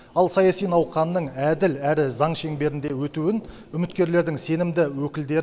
ал саяси науқанның әділ әрі заң шеңберінде өтуін үміткерлердің сенімді өкілдер